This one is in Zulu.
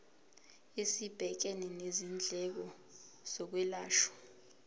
esibhekene nezindleko zokwelashwa